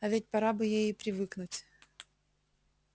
а ведь пора бы ей и привыкнуть